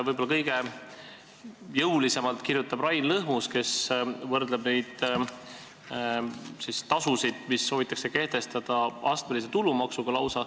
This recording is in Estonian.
Võib-olla kõige jõulisemalt kirjutab Rain Lõhmus, kes võrdleb neid tasusid, mida soovitakse kehtestada, lausa astmelise tulumaksuga.